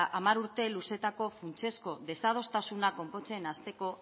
hamar urte luzeetako funtsezko desadostasunak konpontzen hasteko